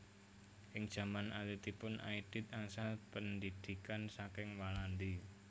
Ing jaman alitipun Aidit angsal pendhidhikan saking Walandi